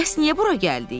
Bəs niyə bura gəldik?